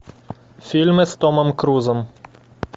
фильмы с томом крузом